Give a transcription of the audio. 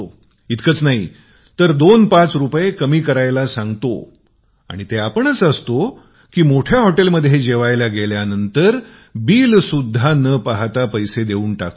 इतकेच नाही दोन पाच रुपये कमी करावयास सांगतो आणि आपणच असतो मोठ्या हॉटेलमध्ये जेवायला गेलो की बिल सुद्धा पाहत नाही पैसे देऊन टाकतो